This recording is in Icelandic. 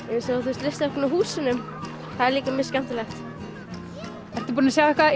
eins og listaverkin á húsunum það er líka mjög skemmtilegt ertu búin að sjá eitthvað